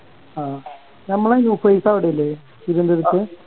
ആ നമ്മളെ നുഫൈസ് അവിടെല്ലേ തിരുവന്തുരത്ത്